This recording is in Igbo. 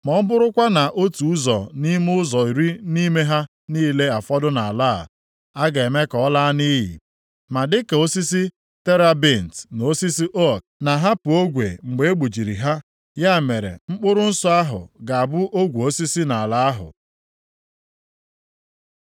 Ma ọ bụrụkwa na otu ụzọ nʼime ụzọ iri nʼime ha niile afọdụ nʼala a, a ga-eme ka ọ laa nʼiyi. Ma dịka osisi terebint na osisi ook na-ahapụ ogwe mgbe e gbujiri ha, ya mere mkpụrụ nsọ ahụ ga-abụ ogwe osisi nʼala ahụ.”